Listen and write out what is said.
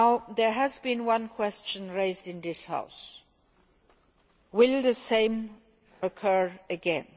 There has been one question raised in this House will the same occur again?